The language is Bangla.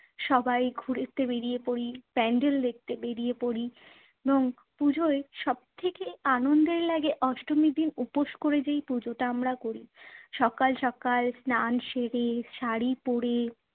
সবাই ঘুরতে বেরিয়ে পড়ি, pandal দেখতে বেরিয়ে পড়ি এবং পুজোয় সব থেকে আনন্দের লাগে অষ্টমীর দিন উপোস করে যেই পুজোটা আমরা করি। সকাল সকাল স্নান সেরে, শাড়ি পরে